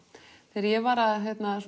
þegar ég var að